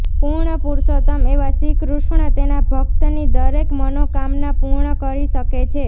પૂર્ણપુરુષોત્તમ એવા શ્રીકૃષ્ણ તેના ભક્તની દરેક મનોકામના પૂર્ણ કરી શકે છે